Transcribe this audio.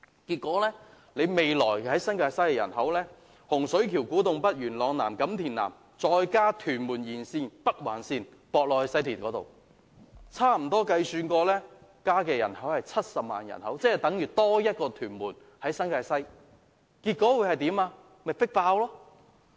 結果，未來新界西，洪水橋、古洞北、元朗南及錦田南的人口，再加上屯門沿線、北環線接駁至西鐵，計算起來，將增加70萬人口，等於新界西多了一個屯門，結果是迫爆鐵路車站。